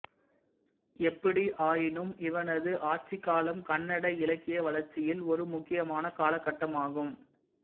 எப்படியாயினும் இவனது ஆட்சிக் காலம் கன்னட இலக்கிய வளர்ச்சியில் ஒரு முக்கியமான காலகட்டமாகும்